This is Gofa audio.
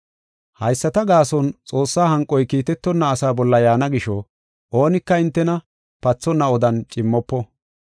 Hayisata gaason Xoossaa hanqoy kiitetonna asaa bolla yaana gisho oonika hintena pathonna odan cimmofo.